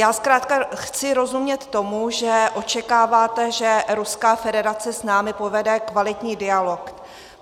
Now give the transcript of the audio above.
Já zkrátka chci rozumět tomu, že očekáváte, že Ruská federace s námi povede kvalitní dialog.